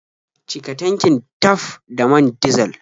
Cika tankin taf da man dizal.